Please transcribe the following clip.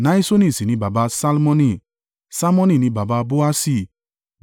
Nahiṣoni sì ni baba Salmoni, Salmoni ni baba Boasi,